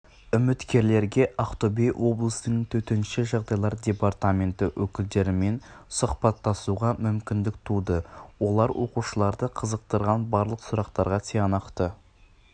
үміткерлерге ақтөбе облысының төтенше жағдайлар департаменті өкілдерімен сұхбаттасуға мүмкіндік туды олар оқушыларды қызықтырған барлық сұрақтарға тиянақты